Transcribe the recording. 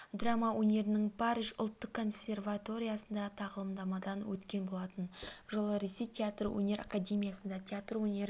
драма өнерінің париж ұлттық консерваториясында тағылымдамадан өткен болатын жылы ресей театр өнер академиясында театр өнері